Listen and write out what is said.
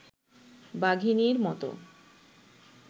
বাঘিনীর মতো